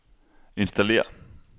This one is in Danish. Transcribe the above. installér